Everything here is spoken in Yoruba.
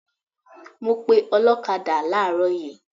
I called a motor cyclist this morning